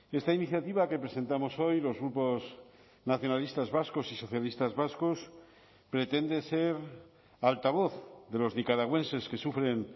esta iniciativa que presentamos hoy los grupos nacionalistas vascos y socialistas vascos pretende ser altavoz de los nicaragüenses que sufren